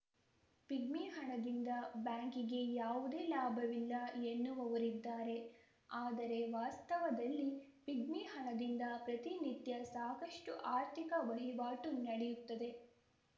pigmy ಹಣದಿಂದ ಬ್ಯಾಂಕಿಗೆ ಯಾವುದೇ ಲಾಭವಿಲ್ಲ ಎನ್ನುವವರಿದ್ದಾರೆ ಆದರೆ ವಾಸ್ತವದಲ್ಲಿ ಪಿಗ್ಮಿ ಹಣದಿಂದ ಪ್ರತಿನಿತ್ಯ ಸಾಕಷ್ಟುಆರ್ಥಿಕ ವಹಿವಾಟು ನಡೆಯುತ್ತದೆ